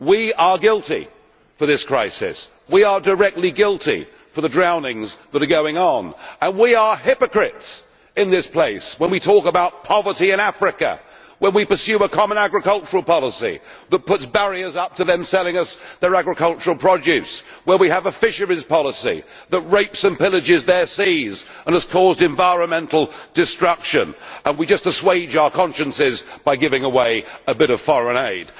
We are guilty for this crisis, we are directly guilty for the drownings that are going on, and we are hypocrites in this place when we talk about poverty in Africa, when we pursue a common agricultural policy that puts barriers up to them selling us their agricultural produce, where we have a fisheries policy that rapes and pillages their seas and has caused environmental destruction, and we just assuage our consciences by giving away a bit of foreign aid.